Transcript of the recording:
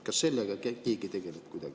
Kas sellega keegi kuidagi tegeleb?